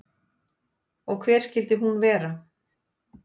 Og hver skyldi hún vera?